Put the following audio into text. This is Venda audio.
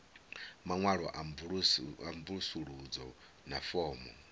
maṅwalo a mvusuludzo na fomo